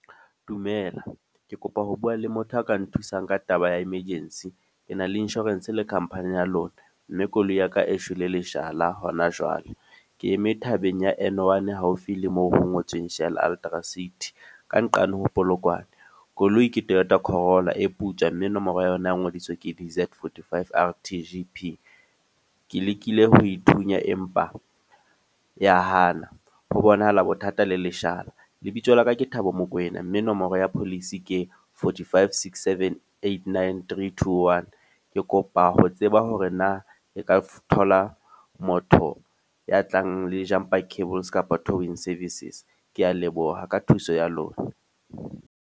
Dumela. Ke kopa ho bua le motho a ka nthusang ka taba ya emergency. Ke na le insurance le company ya lona. Mme koloi ya ka e shwele leshala hona jwale. Ke eme thabeng ya N1 haufi le moo ho ngotsweng Shell Ultra City, ka nqane ho Polokwane. Koloi ke Toyota Corolla e putswa, mme nomoro ya yona ya ngodiswa ke D_Z 45 R_T_G_P. Ke lekile ho ithunya empa ya Hana. Ho bonahala bothata le leshala. Lebitso laka ke Thabo Mokoena mme nomoro ya Policy ke forty five, six, seven, eight, nine, thirty, two, one. Ke kopa ho tseba hore na e ka thola motho ya tlang le jumper cables kapa towing services. Ke a leboha ka thuso ya lona.